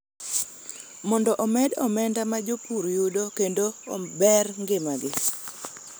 mondo omed omenda ma jopur yudo kendo ober ngimagi.